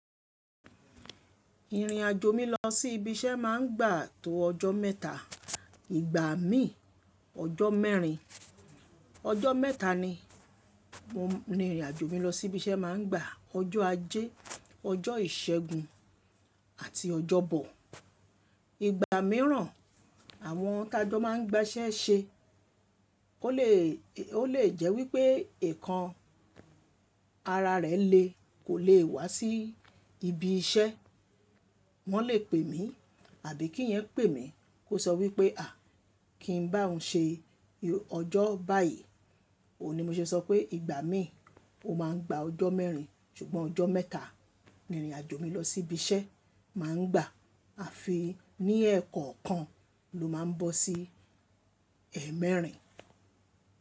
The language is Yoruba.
Ìrìnàjò mi lọ sí ibi iṣẹ́ mà ń gba tó ọjọ́ mẹ́ta ìgbà mí ọjọ́ mẹ́rin. Ọjọ́ mẹ́ta ni mo ń, ni ìrìnàjò mi lọ sí ibi iṣẹ́ mà ń gba ọjọ́ ajé, ọjọ́ ìṣẹ́gun àti ọjọ́bọ̀. Ìgbà mìíràn àwọn tajo màa ń gba iṣẹ́ ṣe ó lè, ó lè jẹ́ wípé ẹkan ara rẹ̀ lè kò lè wá sí ibi iṣẹ́. Wọ́n lè pè mí àbí kí ìyẹn pè mí kó sọ wípé a kìn n bá òhun ṣe ọjọ́ báyì, ó ní mo ṣe sọ pé ìgbà mí ó mà ń gba ọjọ́ mẹ́rin ṣùgbọ́n ọjọ́ mẹ́ta ni ìrìnàjò mi lọ sí ibi iṣẹ́ mà ń gba a fi ní ẹẹ́kọ̀ọ̀kan ló mà ń bọ́ sí ẹẹ́mẹẹ́rin.